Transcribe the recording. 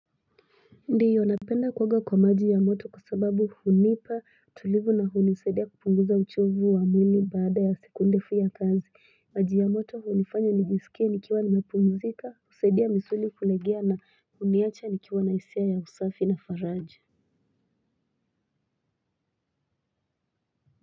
Ndiyo napenda kuoga kwa maji ya moto kwa sababu hunipa tulivu na hunisaidia kupunguza uchovu wa mwili baada ya siku ndefu ya kazi maji ya moto hunifanya nijisikie nikiwa nimepumuzika usaidia misuli kulegea na huniacha nikiwa na hisia ya usafi na faraja.